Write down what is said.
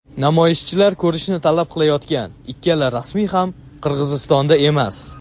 namoyishchilar ko‘rishni talab qilayotgan ikkala rasmiy ham Qirg‘izistonda emas.